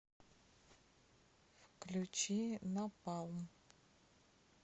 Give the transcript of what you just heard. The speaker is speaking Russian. включи напалм